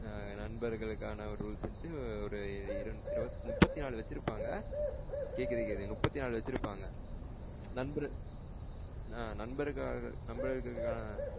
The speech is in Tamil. நண்பர்களுக்கான rules வந்ட்டு ஒரு இரு முப்பத்திநாலு வச்சிருபாங்க. கேக்குது கேக்குது முபத்தினாலு வச்சிருபாங்க. நண்பர் ஆஹ்ன் நண்பரு நண்பருக்கான.